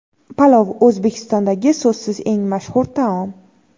Palov – O‘zbekistondagi so‘zsiz eng mashhur taom.